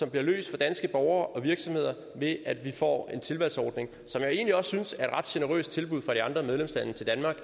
bliver løst for danske borgere og virksomheder ved at vi får en tilvalgsordning som jeg egentlig også synes er et ret generøst tilbud fra de andre medlemslande til danmark